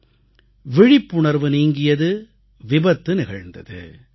 விழிப்புணர்வு நீங்கியது விபத்து நிகழ்ந்தது